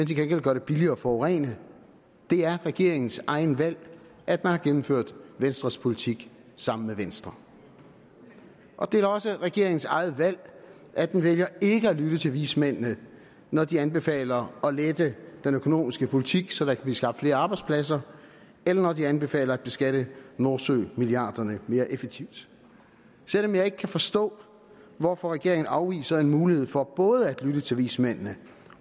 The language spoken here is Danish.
til gengæld gør det billigere at forurene det er regeringens eget valg at man har gennemført venstres politik sammen med venstre og det er da også regeringens eget valg at den vælger ikke at lytte til vismændene når de anbefaler at lette den økonomiske politik så der kan blive skabt flere arbejdspladser eller når de anbefaler at beskatte nordsømilliarderne mere effektivt selv om jeg ikke kan forstå hvorfor regeringen afviser en mulighed for både at lytte til vismændene